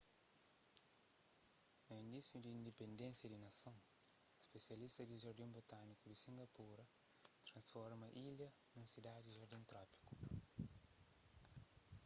na inísiu di indipendénsia di nason spisialistas di jardin botâniku di singapura transforma ilha nun sidadi jardin trópiku